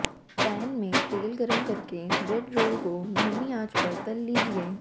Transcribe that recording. pan में तेल गरम करके ब्रेड रोल को धीमी आंच पर तल लीजिये